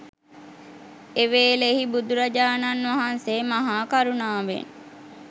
එවේලෙහි බුදුරජාණන් වහන්සේ මහා කරුණාවෙන්